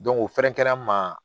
o fɛrɛnkɛrɛn ma